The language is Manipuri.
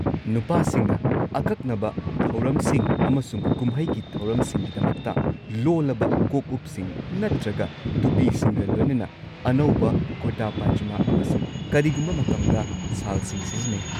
ꯅꯨꯄꯥꯁꯤꯡꯅ ꯑꯀꯛꯅꯕ ꯊꯧꯔꯝꯁꯤꯡ ꯑꯃꯁꯨꯡ ꯀꯨꯝꯍꯩꯒꯤ ꯊꯧꯔꯝꯁꯤꯡꯒꯤꯗꯃꯛꯇ, ꯂꯣꯜꯂꯕ ꯀꯣꯛꯎꯞꯁꯤꯡ ꯅꯠꯇ꯭ꯔꯒ ꯇꯨꯄꯤꯁꯤꯡꯒ ꯂꯣꯏꯅꯅ ꯑꯅꯧꯕ ꯀꯨꯔꯇꯥ ꯄꯥꯢꯖꯃꯥ ꯑꯃꯁꯨꯡ ꯀꯔꯤꯒꯨꯝꯕ ꯃꯇꯝꯗ ꯁꯥꯜꯁꯤꯡ ꯁꯤꯖꯤꯟꯅꯩ꯫